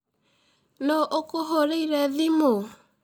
Nũ ũkũhũrĩĩre thimu.